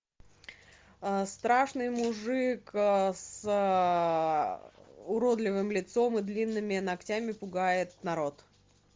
страшный мужик с уродливым лицом и длинными ногтями пугает народ